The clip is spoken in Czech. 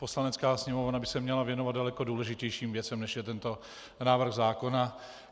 Poslanecká sněmovna by se měla věnovat daleko důležitějším věcem než je tento návrh zákona.